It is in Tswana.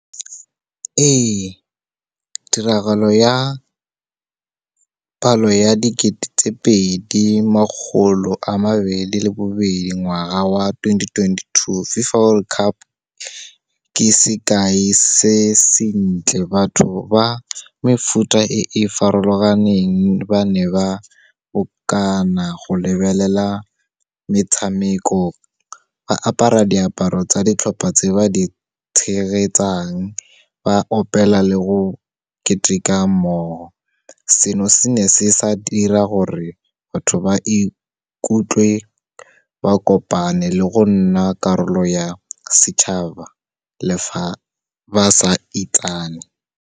Ee, tiragalo ya palo ya dikete tse pedi makgolo a mabedi le bobedi, ngwaga wa twenty twenty-two, FIFA World Cup ke sekai se sentle. Batho ba mefuta e farologaneng, ba ne ba bokana go lebelela metshameko. Ba apara diaparo tsa ditlhopha tse ba di tshegetsang. Ba opela le go keteka mmogo. Seno, se ne se sa dira gore batho ba ikutlwe ba kopane le go nna karolo ya setšhaba le fa ba sa itsane.